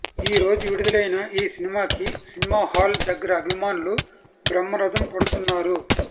ఈ రోజు విడుదలైన ఈ సినిమాకి సినిమా హాల్ దగ్గర అభిమానులు బ్రహ్మరథం పడుతున్నారు